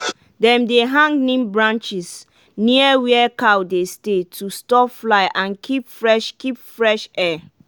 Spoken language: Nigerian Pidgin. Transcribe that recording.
dem dey hang neem branches near where cow dey stay to stop fly and keep fresh keep fresh air.